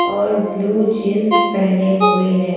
और blue jeans पहने हुए हैं।